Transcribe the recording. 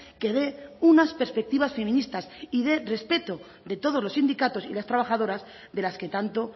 que de unas perspectivas feministas y de respeto de todos los sindicatos y las trabajadoras de las que tanto